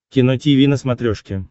кино тиви на смотрешке